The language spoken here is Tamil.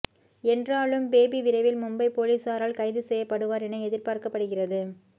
என்றா லும் பேபி விரைவில் மும்பை போலீஸாரால் கைது செய்யப் படுவார் என எதிர்பார்க்கப்படுகிறது